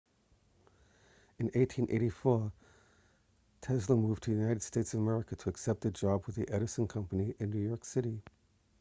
in 1884 tesla moved to the united states of america to accept a job with the edison company in new york city